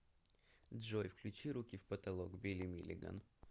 джой включи руки в потолок билли милиган